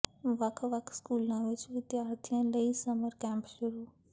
ਵੱਖ ਵੱਖ ਸਕੂਲਾਂ ਵਿੱਚ ਵਿਦਿਆਰਥੀਆਂ ਲਈ ਸਮਰ ਕੈਂਪ ਸ਼ੁਰੂ